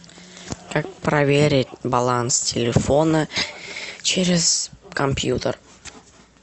как проверить баланс телефона через компьютер